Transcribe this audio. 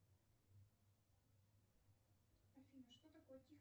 афина что такое